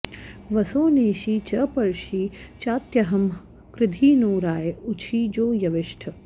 वसो नेषि च पर्षि चात्यंहः कृधी नो राय उशिजो यविष्ठ